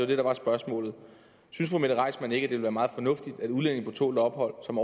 det der var spørgsmålet synes fru mette reissmann ikke det være meget fornuftigt at udlændinge på tålt ophold som